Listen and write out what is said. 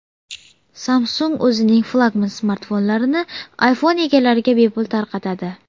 Samsung o‘zining flagman smartfonlarini iPhone egalariga bepul tarqatadi.